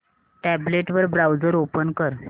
tablet वर browser open कर